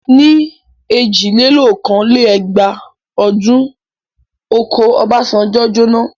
Ní èjìlélókòó-lé-ẹgbàá ọdún, oko Obasanjo jóná.